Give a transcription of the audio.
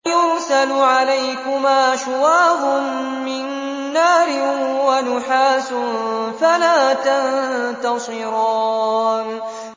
يُرْسَلُ عَلَيْكُمَا شُوَاظٌ مِّن نَّارٍ وَنُحَاسٌ فَلَا تَنتَصِرَانِ